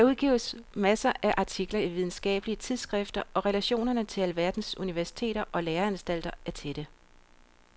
Der udgives masser af artikler i videnskabelige tidsskrifter og relationerne til alverdens universiteter og læreanstalter er tætte.